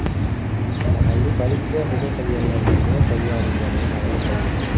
Mahalliy politsiya hujum qilganlardan biri qo‘lga olinganini ma’lum qildi.